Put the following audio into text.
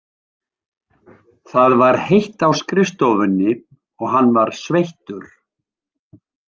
Það var heitt á skrifstofunni og hann var sveittur.